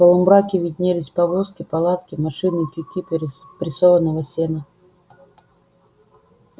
в полумраке виднелись повозки палатки машины тюки прессованного сена